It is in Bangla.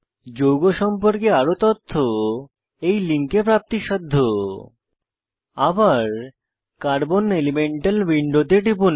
যৌগ সম্পর্কে আরো তথ্য এই লিঙ্কে উপলব্ধ httpenwikipediaorgwikiSpin states d electrons আবার কার্বন এলিমেন্টাল উইন্ডোতে টিপুন